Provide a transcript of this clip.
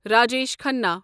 Rajesh Khanna